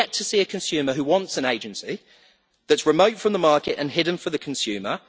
I have yet to see a consumer who wants an agency that is remote from the market and hidden from the consumer.